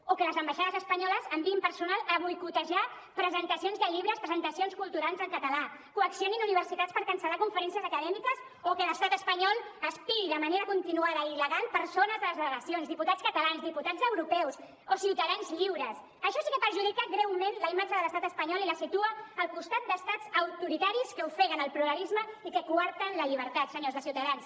o que les ambaixades espanyoles enviïn personal a boicotejar presentacions de llibres presentacions culturals en català coaccionin universitats per cancel·lar conferències acadèmiques o que l’estat espanyol espiï de manera continuada i il·legal persones de les delegacions diputats catalans diputats europeus o ciutadans lliures això sí que perjudica greument la imatge de l’estat espanyol i la situa al costat d’estats autoritaris que ofeguen el pluralisme i que coarten la llibertat senyors de ciutadans